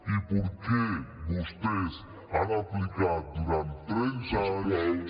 i per què vostès han aplicat durant trenta anys